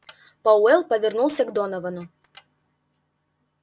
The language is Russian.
пауэлл повернулся к доновану